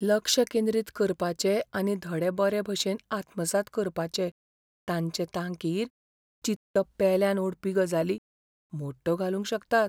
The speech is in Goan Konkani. लक्ष केंद्रीत करपाचे आनी धडे बरे भशेन आत्मसात करपाचे तांचे तांकीर चित्त पेल्यान ओडपी गजाली मोडटो घालूंक शकतात.